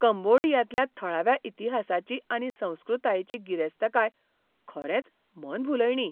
कंबोडियांतल्या थळाव्या इतिहासाची आनी संस्कृतायेची गिरेस्तकाय खरेंच मनभुलयणी.